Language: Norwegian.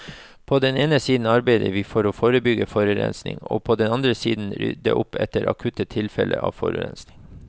På den ene side arbeider vi for å forebygge forurensning, og på den annen side rydde opp etter akutte tilfeller av forurensning.